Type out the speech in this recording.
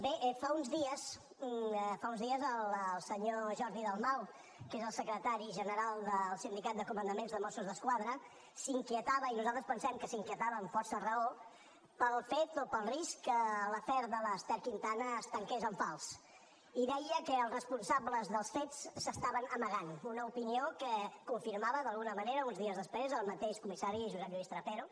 bé fa uns dies fa uns dies el senyor jordi dalmau que és el secretari general del sindicat de comandaments de mossos d’esquadra s’inquietava i nosaltres pensem que s’inquietava amb força raó pel fet o pel risc que l’afer de l’ester quintana es tanqués en fals i deia que els responsables dels fets s’estaven amagant una opinió que confirmava d’alguna manera uns dies després el mateix comissari josep lluís trapero